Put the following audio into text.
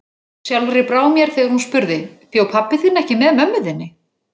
Sjálfri brá mér þegar hún spurði: Bjó pabbi þinn ekki með mömmu þinni?